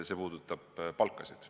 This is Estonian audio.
See puudutab palkasid.